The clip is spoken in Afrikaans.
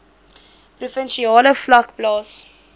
provinsiale vlak plaas